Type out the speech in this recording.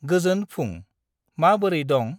गोजोन फुं, मा बोरै दं?